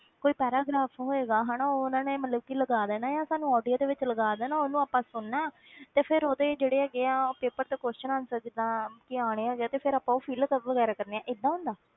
ਕੋਈ paragraph ਹੋਏਗਾ ਹਨਾ ਉਹ ਉਹਨਾਂ ਨੇ ਮਤਲਬ ਕਿ ਲਗਾ ਦੇਣਾ ਆਂ ਸਾਨੂੰ audio ਦੇ ਵਿੱਚ ਲਗਾ ਦੇਣਾ ਉਹਨੂੰ ਆਪਾਂ ਸੁਣਨਾ ਤੇ ਉਹਦੇ ਜਿਹੜੇ ਹੈਗੇ ਆ ਉਹ paper ਤੇ question answer ਜਿੱਦਾਂ ਕਿ ਆਉਣੇ ਹੈਗੇ ਆ ਤੇ ਫਿਰ ਆਪਾਂ ਉਹ fill ਕ~ ਵਗ਼ੈਰਾ ਕਰਨੇ ਆਂ, ਏਦਾਂ ਹੁੰਦਾ ਹੈ?